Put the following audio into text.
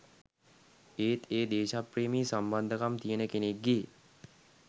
ඒත් ඒ දේශප්‍රේමි සම්බන්ධකම් තියෙන කෙනෙක්ගේ